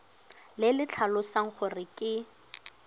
le le tlhalosang gore ke